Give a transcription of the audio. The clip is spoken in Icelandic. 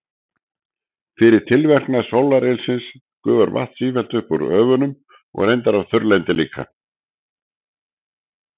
Fyrir tilverknað sólarylsins gufar vatn sífellt upp úr höfunum og reyndar af þurrlendi líka.